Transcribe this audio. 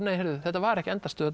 þetta var ekki endastöð